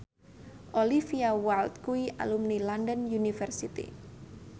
Olivia Wilde kuwi alumni London University